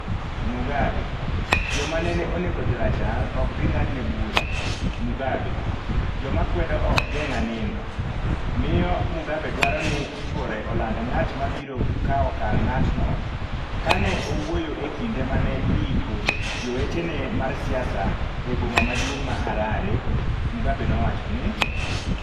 Mugabe: Joma nene onego jorachar ok bi ng’adne bura Mugabe: Joma kwedo ok geng’a nindo Miyo Mugabe dwaro ni chwore oland “ng’at ma biro kawo kar ng’atno” Ka ne owuoyo e kinde ma ne iiko jawetene mar siasa e boma maduong’ ma Harare, Mugabe nowacho ni;